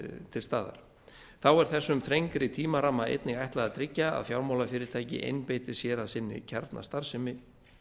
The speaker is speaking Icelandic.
til staðar þá er þessu þrengri tímaramma einnig ætlað að tryggja að fjármálafyrirtæki einbeiti sér að sinni kjarnastarfsemi